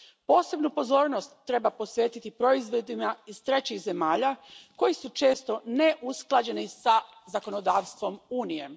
Posebnu pozornost treba posvetiti proizvodima iz trećih zemalja koji su često neusklađeni sa zakonodavstvom Unije.